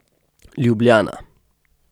Ljubljana.